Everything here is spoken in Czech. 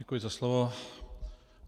Děkuji za slovo.